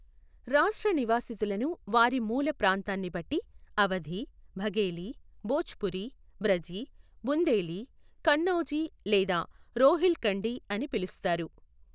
రాష్ట్ర నివాసితులను వారి మూల ప్రాంతాన్ని బట్టి అవధి, బఘేలి, భోజ్పురి, బ్రజి, బుందేలి, కన్నౌజి లేదా రోహిల్ఖండి అని పిలుస్తారు.